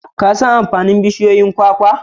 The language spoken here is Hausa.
Ka an amfanin bushiyoyin kwakwa?